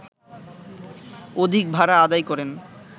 অধিক ভাড়া আদায় করেন